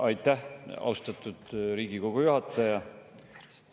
Aitäh, austatud Riigikogu juhataja!